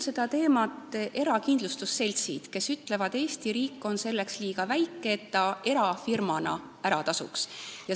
Seda teemat on uurinud erakindlustusseltsid, kes on öelnud, et Eesti riik on selleks liiga väike, et see erafirmadele ära tasuks.